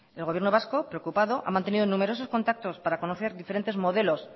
el gobierno vasco preocupado ha mantenido numerosos contactos para conocer diferentes modelos